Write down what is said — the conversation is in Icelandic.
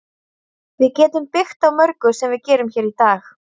Við getum byggt á mörgu sem við gerum hér í dag.